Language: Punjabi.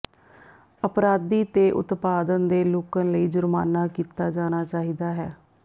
ਅਪਰਾਧੀ ਤੇ ਉਤਪਾਦਨ ਦੇ ਲੁੱਕਣ ਲਈ ਜੁਰਮਾਨਾ ਕੀਤਾ ਜਾਣਾ ਚਾਹੀਦਾ ਹੈ